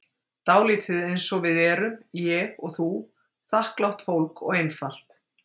Dálítið einsog við erum, ég og þú, þakklátt fólk og einfalt.